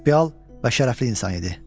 Prinsipial və şərəfli insan idi.